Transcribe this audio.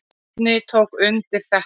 Bjarni tók undir þetta.